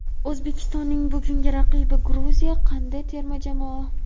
O‘zbekistonning bugungi raqibi Gruziya qanday terma jamoa?.